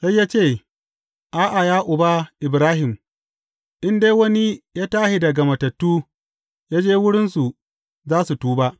Sai ya ce, A’a, ya uba, Ibrahim, in dai wani ya tashi daga matattu ya je wurinsu, za su tuba.’